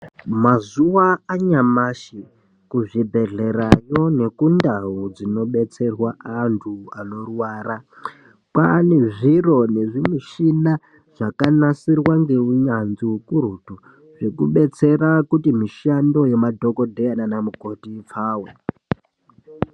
Mazuva anyamashi kuzvi bhehlerayo neku ndau dzino betserwa andu ano rwara kwane zviro nezvi mishina zvakanasirwa ngeunyanzvi ukurutu zvekubetsera kuti mishando yema dhokoteya nana mukoti ipfawe.